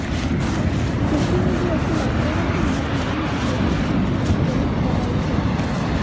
बिल्कुल मुझे ऐसा लगता है कि हमारी यंग जेनरेशन सिनेमा सेबहुत प्रभावित होती है